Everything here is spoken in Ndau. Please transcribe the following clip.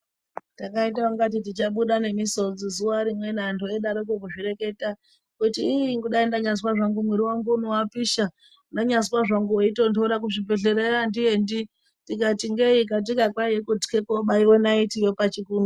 Takaita ungati tichabuda nemisodzi zuwa rimweni antu eidarokwo kuzvireketa. Kuti iih dai ndanyazwa zvangu mwiri wangu uno wapisha. Ndanyazwa zvangu weitonhora. Kuzvibhedhlerayo andiende. Tikati ngei katika kwaiya kutya kubaiwa naiti yo pachikunwe.